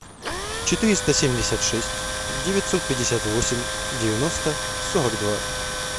четыреста семьдесят шесть девятьсот пятьдесят восемь девяносто сорок два